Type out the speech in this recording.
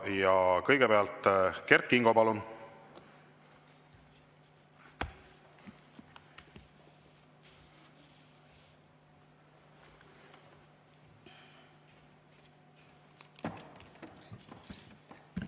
Ja kõigepealt Kert Kingo, palun!